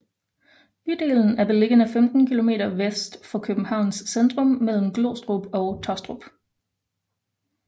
Bydelen er beliggende 15 kilometer vest for Københavns centrum mellem Glostrup og Taastrup